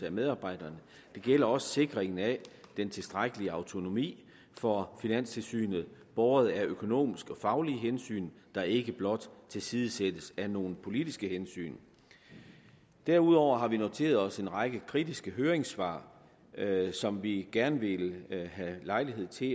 af medarbejdere det gælder også sikring af den tilstrækkelige autonomi for finanstilsynet båret af økonomiske og faglige hensyn der ikke blot tilsidesættes af nogle politiske hensyn derudover har vi noteret os en række kritiske høringssvar som vi gerne vil have lejlighed til